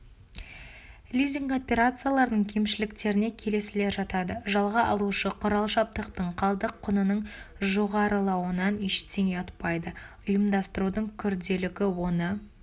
лизинг операцияларының кемшіліктеріне келесілер жатады жалға алушы құрал-жабдықтың қалдық құнының жоғарылауынан ештеңе ұтпайды ұйымдастырудың күрделілігі оны